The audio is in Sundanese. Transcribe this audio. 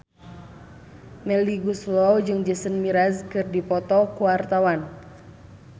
Melly Goeslaw jeung Jason Mraz keur dipoto ku wartawan